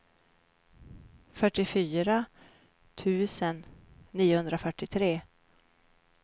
fyrtiofyra tusen niohundrafyrtiotre